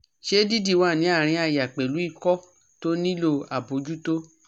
Se didi wa ni arin aya pelu iko to nilo abojuto?